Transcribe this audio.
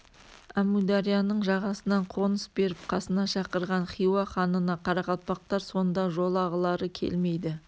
әмударияның жағасынан қоныс беріп қасына шақырған хиуа ханына қарақалпақтар сонда жолағылары келмейді